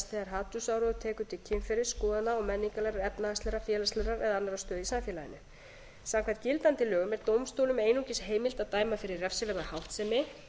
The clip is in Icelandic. þegar hatursáróður tekur til kynferðis skoðana og menningarlegrar efnahagslegrar félagslegrar eða annarrar stöðu í samfélaginu samkvæmt gildandi lögum er dómstólum einungis heimilt að dæma fyrir refsiverða háttsemi